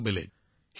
বিশাখা জীঃ হয়